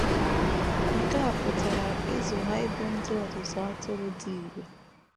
Nke a pụtara ịzụ ha ịbụ ndị ọzụzụ atụrụ dị irè.